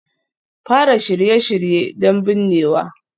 Fara Shirye-shirye don binnewa